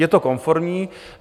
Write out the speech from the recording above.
Je to konformní.